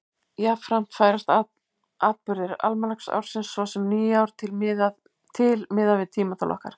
Jafnframt færast atburðir almanaksársins, svo sem nýár, til miðað við tímatal okkar.